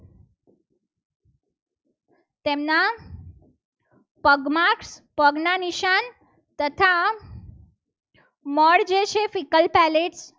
તેમના પગમાર્ક પગના નિશાન તથા મળ જે છે ficker palace